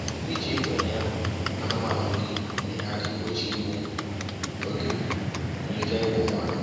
Iji igwe enye anụmanụ nri na-enye aka igbochi igbu oge na ike ịgwụ mmadụ